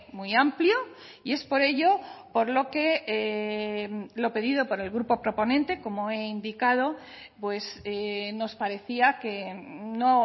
muy amplio y es por ello por lo que lo pedido por el grupo proponente como he indicado pues nos parecía que no